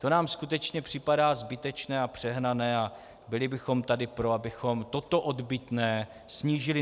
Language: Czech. To nám skutečně připadá zbytečné a přehnané a byli bychom tady pro, abychom toto odbytné snížili.